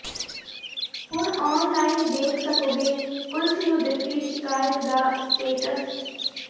ਹੁਣ online ਦੇਖ ਸਕੋਗੇ ਪੁਲਸ ਨੂੰ ਦਿੱਤੀ ਸ਼ਿਕਾਇਤ ਦਾ ਸਟੇਟਸ